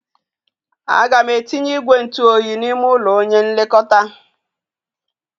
A ga m etinye igwe ntụ oyi n'ime ụlọ onye nlekọta.